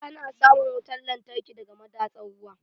Ana samun wutar lantarki daga madatsar ruwa.